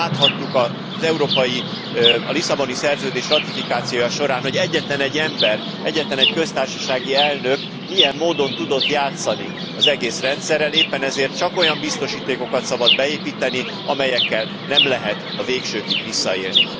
Láthattuk a Lisszaboni Szerződés ratifikációja során, hogy egyetlenegy ember, egyetlenegy köztársasági elnök milyen módon tudott játszani az egész rendszerrel, éppen ezért csak olyan biztosítékokat szabad beépíteni, amelyekkel nem lehet a végsőkig visszaélni.